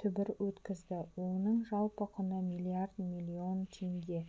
түбір өткізді оның жалпы құны млрд млн теңге